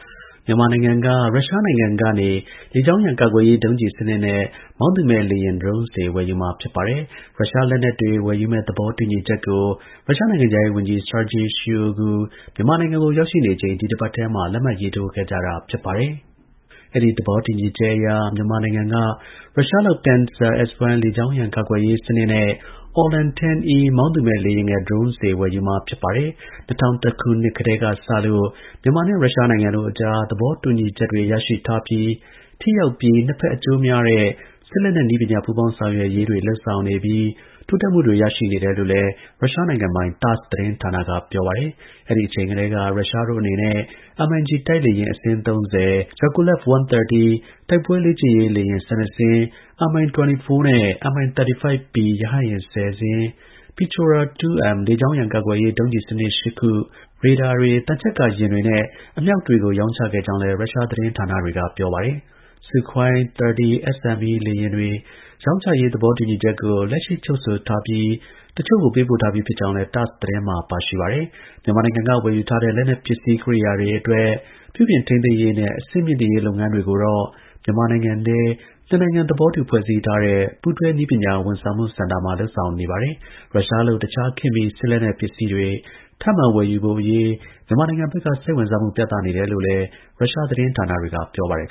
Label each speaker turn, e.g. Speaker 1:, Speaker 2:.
Speaker 1: မြန်မာနိုင်ငံက ရုရှားနိုင်ငံကနေ လေကြောင်းရန် ကာကွယ်ရေး ဒုံးကျည် စနစ်နဲ့ မောင်းသူမဲ့ လေယာဉ် drone တွေ ဝယ်ယူမှာ ဖြစ် ပါတယ်။ ရုရှားနိုင်ငံဆီက လက်နက်ဝယ်ယူမယ့် သဘောတူညီချက်ကို ရုရှား ကာကွယ်ရေး ဝန်ကြီး Sergey Shoigu မြန်မာနိုင်ငံကို ရောက်နေချိန် ဒီတစ်ပတ်ထဲမှာ လက်မှတ်ရေးထိုးခဲ့ကြတာပါ။ အဲဒီ သဘောတူညီချက်အရ မြန်မာနိုင်ငံက ရုရှားလုပ် Pantsir-S1 လေကြောင်းရန် ကာကွယ်ရေး စနစ်နဲ့ Orlan-10E မောင်းသူမဲ့ လေယာဉ်ငယ် drone တွေ ဝယ်ယူမှာ ဖြစ်ပါတယ်။ ၂၀၀၁ ခုနှစ်ကတည်းက စလို့ မြန်မာနဲ့ ရုရှားနိုင်ငံတို့အကြား သဘောတူညီချက်တွေ ရရှိထားပြီး ထိရောက်ပြီး နှစ်ဘက်အကျိုးများတဲ့ စစ်လက်နက် နည်းပညာ ပူးပေါင်းဆောင်ရွက်ရေး လုပ်ဆောင်နေပြီး တိုးတက်မှုတွေ ရရှိနေတယ်လို့ ရုရှား နိုင်ငံပိုင် TASSသတင်းဌာနက ပြောပါတယ်။ အဲဒီ အချိန်ကတည်းက ရုရှားတို့ အနေနဲ့ MiG တိုက်လေယာဉ် အစင်း ၃၀၊ Yakolev-130တိုက်ပွဲ လေ့ကျင့်ရေးလေယာဉ် ၁၂ စင်း၊ Mi 24နဲ့Mi-35Pရဟတ်ယာဉ် ၁၀ စင်း၊ Pechora -2Mလေကြောင်းရန် ကာကွယ်ရေး ဒုံးကျည်စနစ် ၈ ခု၊ ရေဒါတွေ၊ သံချပ်ကာ ယာဉ်တွေ နဲ့ အမြှောက်တွေကို ရောင်းချခဲ့ကြောင်းလည်း ရုရှား သတင်းဌာနတွေက ပြောပါတယ်။ Sukhoi-30SME လေယာဉ်တွေ ရောင်းချရေး သဘောတူစာချုပ်ကို လက်ရှိ ချုပ်ဆိုထားပြီး တစ်ချို့ကို ပေးပို့ထားပြီးဖြစ်ကြောင်း လည်း TASS သတင်းမှာ ပါရှိပါတယ်။ မြန်မာနိုင်ငံက ဝယ်ယူထားတဲ့ လက်နက် ပစ္စည်း ကိရိယာတွေအတွက် ပြုပြုင်ထိန်းသိမ်းရေးနဲ့ အဆင့်မြှင့်တင်ရေးလုပ်ငန်းတွေ ကိုတော့ မြန်မာနိုင်ငံထဲမှာ နှစ်နိုင်ငံသဘောတူ ဖွဲ့စည်းထားတဲ့ ပူးတွဲ နည်းပညာဝန်ဆောင်မှု စင်တာမှာ လုပ်ဆောင်နေတာပါ။ ရုရှားလုပ် တခြား ခေတ်မီ စစ်လက်နက် ပစ္စည်းတွေ ထပ်မံ ဝယ်ယူဖို့ မြန်မာနိုင်ငံဘက်က စိတ်ဝင်းစားမှု ပြသနေတယ်လို့လည်း ရုရှား သတင်းဌာနတွေက ပြောပါတယ်